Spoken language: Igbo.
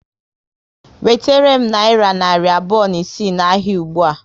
Wetere m nayira narị abụọ na isii na ahịa ụgbụa